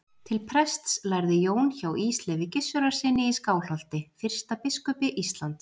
Til prests lærði Jón hjá Ísleifi Gissurarsyni í Skálholti, fyrsta biskupi Íslands.